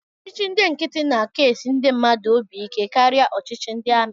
Ọchịchị ndị nkịtị na-aka esi ndị mmadụ obi ike karịa ọchịchị ndị amị